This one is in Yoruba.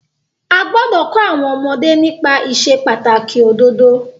A gbọ́dọ̀ kọ́ àwọn ọmọdé nípa ìsepàtàkì òdodo.